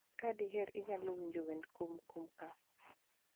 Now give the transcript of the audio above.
Ka diher inyalo winja wende Kumkumka.